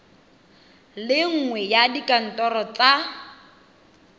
le nngwe ya dikantoro tsa